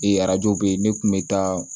Ee arajo be yen ne kun be taa